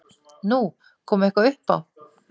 Nú, kom eitthvað upp á?